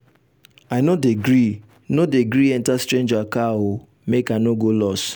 i no dey gree no dey gree enta strager car o. make i no go loss.